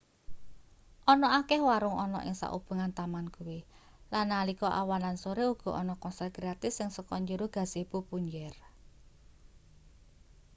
ana akeh warung ana ing saubengan taman kuwi lan nalika awan lan sore uga ana konser gratis sing saka njero gazebo punjer